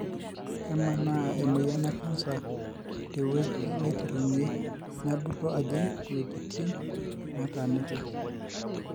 kemaana emoyian ecanscer teweuji naiterunyie nebulu ajing iweujitin nataniki.